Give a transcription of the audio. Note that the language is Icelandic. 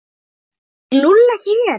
Býr Lúlli ekki hér?